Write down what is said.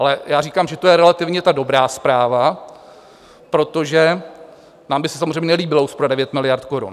Ale já říkám, že to je relativně ta dobrá zpráva, protože nám by se samozřejmě nelíbila úspora 9 miliard korun.